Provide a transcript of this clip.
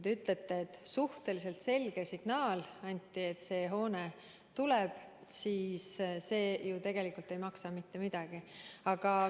Te ütlesite, et anti suhteliselt selge signaal, et see hoone tuleb, aga see ju tegelikult ei maksa mitte midagi.